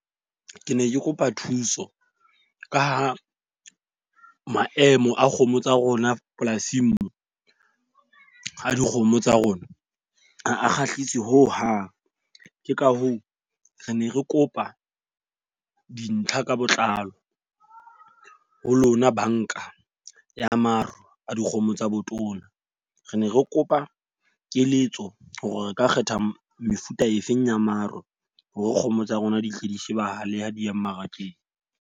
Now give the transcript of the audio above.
Ke ne ke kopa thuso, ka ha maemo a kgomo tsa rona polasing moo a dikgomo tsa rona ha a kgahlisi ho hang. Ke ka hoo re ne re kopa dintlha ka botlalo ho lona banka ya maro a dikgomo tsa botona. Re ne re kopa keletso hore re ka kgetha mefuta e feng ya maro hore kgomo tsa rona di hle di shebahale ha di ya mmarakeng.